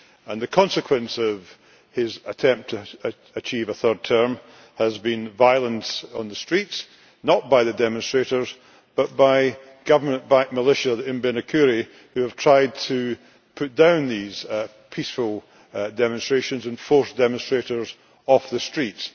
And the consequence of his attempt to achieve a third term has been violence on the streets not by the demonstrators, but by government backed militias, the Imbonerakure who have tried to put down these peaceful demonstrations and forced demonstrators off the streets.